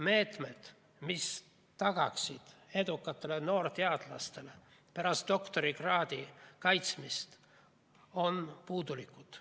Meetmed, mis tagaksid edukatele noorteadlastele pärast doktorikraadi kaitsmist, on puudulikud.